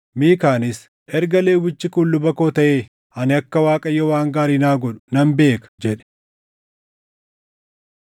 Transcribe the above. Miikaanis, “Erga Lewwichi kun luba koo taʼe, ani akka Waaqayyo waan gaarii naa godhu nan beeka” jedhe.